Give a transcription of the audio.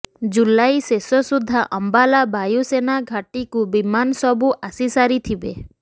ଜୁଲାଇ ଶେଷ ସୁଦ୍ଧା ଅମ୍ବାଲା ବାୟୁସେନା ଘାଟିକୁ ବିମାନ ସବୁ ଆସି ସାରିଥିବେ